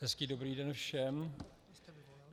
Hezký dobrý den všem.